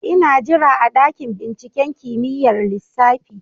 Ina jira a dakin binciken kimiyyar lissafi